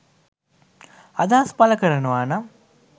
අදහස් පලකරනවානම්